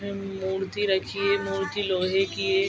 And मूर्ति रखी है मूर्ति लोहे की है।